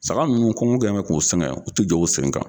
Saga nunnu kɔgɔn kɛ bɛ k'u sɛgɛn u te jɔ u sen kan